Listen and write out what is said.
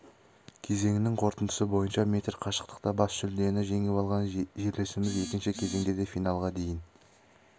кезеңнің қорытындысы бойынша метр қашықтықта бас жүлдені жеңіп алған жерлесіміз екінші кезеңде де финалға дейін